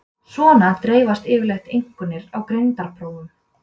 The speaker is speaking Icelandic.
Svona dreifast yfirleitt einkunnir á greindarprófum.